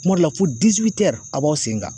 Kuma dɔ la fo diziwitɛri a b'aw sen kan